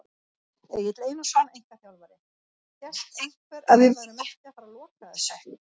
Egill Einarsson, einkaþjálfari: Hélt einhver að við værum ekki að fara loka þessu!?